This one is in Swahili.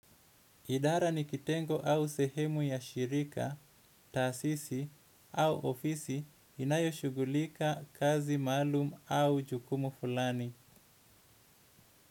Idara ni kitengo au sehemu ya shirika taasisi au ofisi inayoshughulika kazi maalum au jukumu fulani.